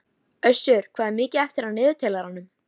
Össur, hvað er mikið eftir af niðurteljaranum?